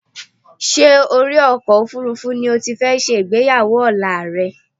Ṣé orí ọkọ̀ òfuurufú ni o ti fẹ́ ṣe ìgbéyàwó ọ̀la rẹ?